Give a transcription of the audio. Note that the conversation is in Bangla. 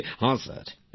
প্রেম জী হ্যাঁ স্যার